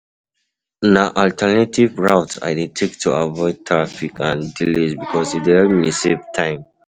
Na alternative routes I dey take to avoid traffic and delays because e dey help me save time.